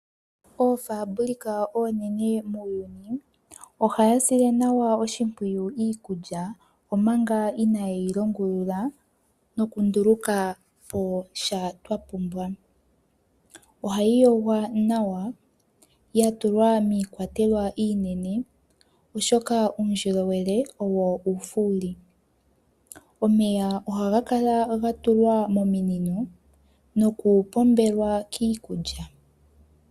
Oofabulika oonene muyuuni ohadhi sile nawa oshimpwiyu iikulya, omanga inayi longulula noku nduluka posha twa pumbwa. Ohayi yogwa nawa ya tulwa miikwatelwa iinene, oshoka uundjolowele owo uufuli. Omeya ohaga kala ga tulwa mominino noku pombelwa kiikulya.